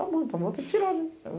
Tá bom, tá bom, vou ter que tirar, né?